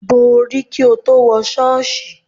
Bo orí kí o tó wọ ṣọ́ọ̀ṣì.